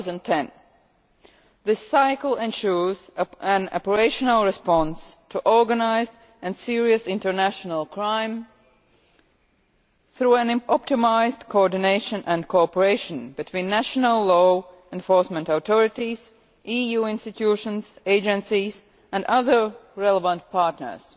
2010. This cycle ensures an operational response to organised and serious international crime through optimised coordination and cooperation between national law enforcement authorities, EU institutions, agencies and other relevant partners.